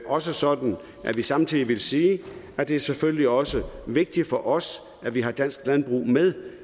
også sådan at vi samtidig vil sige at det selvfølgelig også er vigtigt for os at vi har dansk landbrug med